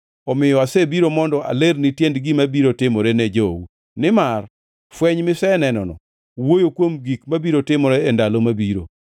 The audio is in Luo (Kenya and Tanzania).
Omiyo asebiro mondo alerni tiend gima biro timore ne jou, nimar fweny misenenono wuoyo kuom gik mabiro timore e ndalo mabiro.